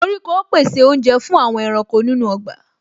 Koríko pèsè oúnjẹ fún àwọn ẹranko nínú ọgbà